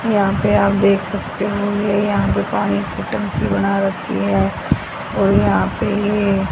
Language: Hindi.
यहां पे आप देख सकते है ये यहां पे पानी की टंकी बना रखी है और यह पे--